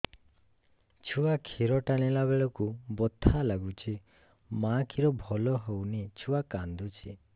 ଛୁଆ ଖିର ଟାଣିଲା ବେଳକୁ ବଥା ଲାଗୁଚି ମା ଖିର ଭଲ ହଉନି ଛୁଆ କାନ୍ଦୁଚି